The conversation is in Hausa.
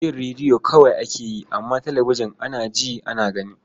Jin rediyo kawai ake yi, amma talabijin, ana ji, ana gani.